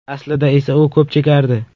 Aslida esa u ko‘p chekardi.